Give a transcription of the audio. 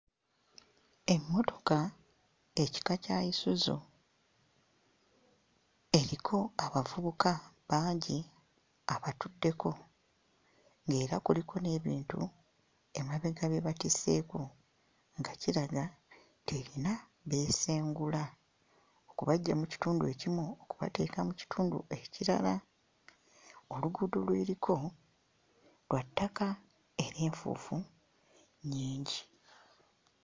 Emmotoka ekika kya Isuzu eriko abavubuka bangi abatuddeko ng'era kuliko n'ebintu emabega bye batisseeko nga kiraga nti erina beesengula, okubaggya mu kitundu ekimu okubateeka mu kitundu ekirala. Oluguudo lw'eriko lwa ttaka era enfuufu nnyingi.